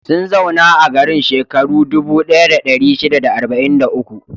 Sun zauna a garin shekaru dubu ɗaya da ɗari shida da arba'in da uku.